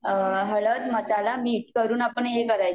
हळद मसाला मीठ करून आपण ही करायचं